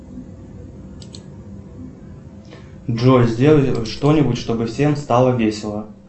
джой сделай что нибудь чтобы всем стало весело